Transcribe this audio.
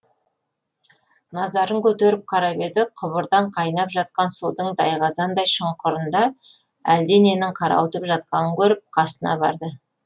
назарын көтеріп қарап еді құбырдан қайнап жатқан судың тайқазандай шұңқырында әлде ненің қарауытып жатқанын көріп қасына барды